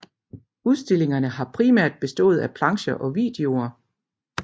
Udstillingerne har primært bestået af plancher og videoer